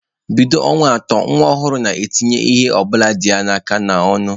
Bido ọnwa atọ, nwa ọhụrụ na-etinye ihe ọ bụla dị n'aka ya n'ọnụ.